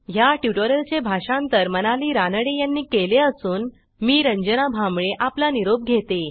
ह्या ट्युटोरियलचे भाषांतर मनाली रानडे यांनी केले असून मी रंजना भांबळे आपला निरोप घेते